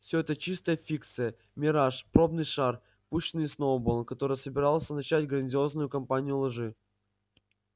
все это чистая фикция мираж пробный шар пущенный сноуболлом который собирался начать грандиозную кампанию лжи